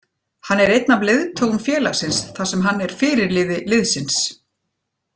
Hann er einn af leiðtogum félagsins þar sem hann er fyrirliði liðsins.